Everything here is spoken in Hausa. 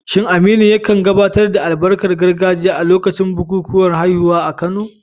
Shin Aminu ya kan gabatar da albarkar gargajiya a lokacin bukukuwan haihuwa a Kano?